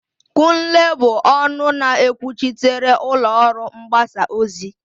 Kunle bụ ọnụ na-ekwuchitere ụlọ ọrụ mgbasa ozi.